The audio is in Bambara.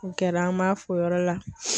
O kɛra an b'a fɔ o yɔrɔ la.